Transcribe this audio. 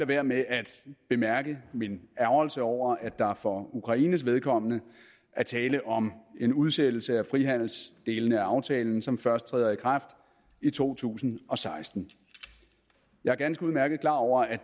være med at bemærke min ærgrelse over at der for ukraines vedkommende er tale om en udsættelse af frihandelsdelene af aftalen som først træder i kraft i to tusind og seksten jeg er ganske udmærket klar over at